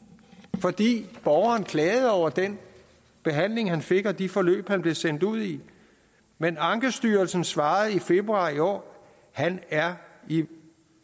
fordi borgeren klagede over den behandling han fik og de forløb han blev sendt ud i men ankestyrelsen svarede i februar i år han er i